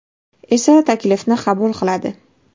esa taklifni qabul qiladi.